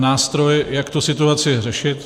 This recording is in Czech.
... nástroj, jak tu situaci řešit.